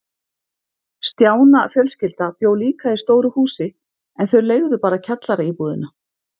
Stjána fjölskylda bjó líka í stóru húsi, en þau leigðu bara kjallaraíbúðina.